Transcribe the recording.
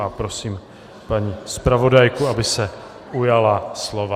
A prosím paní zpravodajku, aby se ujala slova.